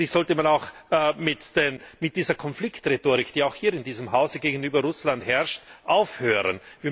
Letztlich sollte man auch mit dieser Konfliktrhetorik, die auch hier in diesem Haus gegenüber Russland herrscht, aufhören.